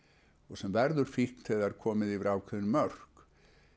sem verður fíkn þegar komin yfir ákveðin mörk